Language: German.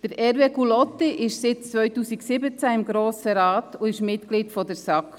Hervé Gullotti ist seit 2017 im Grossen Rat und Mitglied der SAK.